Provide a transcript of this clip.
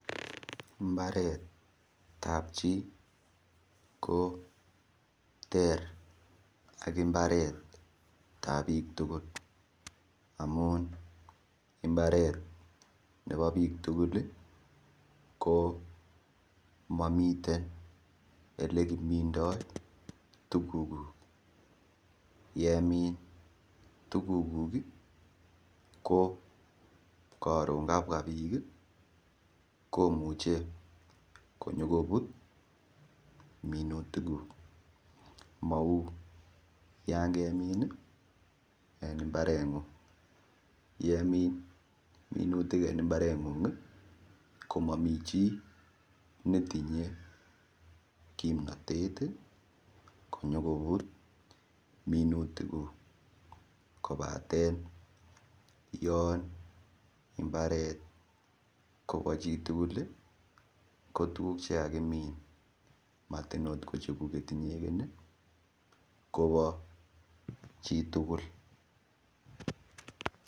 Mbaret ap chii ko ter ak mbaret ap biik tugul amun imbaret nebo biik tugul ko mamiten ole kimindoi tukuk yemin tukukuk ko karon kapwa biik komuche konyokobut minutik kuk mau yon kemin en mbareng'ung' yemin minutik en mbareng'ung' komami chii netinyei kimnotet konyokobut minutik kuk kobaten yon mbaret Kobo chitugul ko tukuk chekikimin matinykochekuk inyekee kobo chitugul.